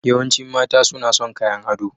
Yawancin mata suna son kayan ado.